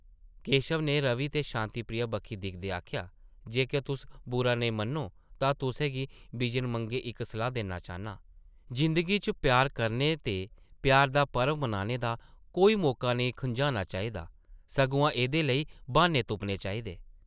केशव नै रवि ते शांति प्रिया बक्खी दिखदे आखेआ, ‘‘जेकर तुस बुरा नेईं मन्नो तां तुसें गी बिजन मंगे इक्क सलाह् देना चाह्न्नां— जिंदगी च प्यार करने ते प्यार दा पर्व मनाने दा कोई मौका नेईं खुंझाना चाहिदा, सगुआं एह्दे लेई ब्हान्ने तुप्पने चाहिदे ।’’